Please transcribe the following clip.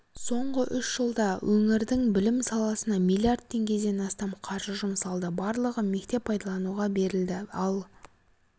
соңғы үш жылда өңірдің білім саласына миллиард теңгеден астам қаржы жұмсалды барлығы мектеп пайдалануға берілді ал